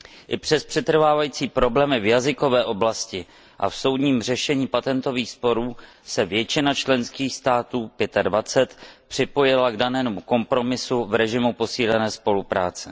I přes přetrvávající problémy v jazykové oblasti a v soudním řešení patentových sporů se většina členských států připojila k danému kompromisu v režimu posílené spolupráce.